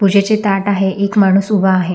पूजेचे ताट आहे एक माणूस उभा आहे.